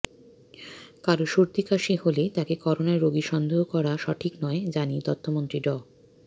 কারো সর্দি কাশি হলেই তাকে করোনা রোগী সন্দেহ করা সঠিক নয় জানিয়ে তথ্যমন্ত্রী ড